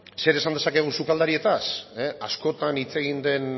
zer esan dezakegu sukaldarietaz askotan hitz egin den